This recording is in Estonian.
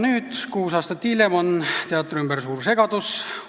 Nüüd, kuus aastat hiljem on teatri ümber suur segadus.